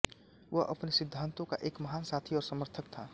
वह अपने सिद्धांतों का एक महान साथी और समर्थक था